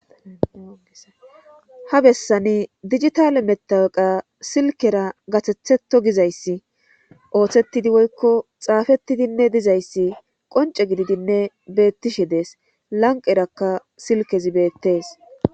Ha bessani dijitaaale mattawaqa silkkera gathethetto gizayssi oothettidi woykko zaafettidinne dizzayssi qoncce gididinne beettishe dees lanqqerakka silkkezi beettees.